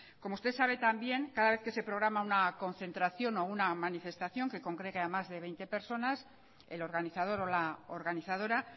como usted sabe también cada vez que se programa una concentración o una manifestación que congregue a más de veinte personas el organizador o la organizadora